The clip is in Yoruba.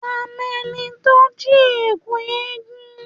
À mẹ ni tọ ji ẹkú ẹgún.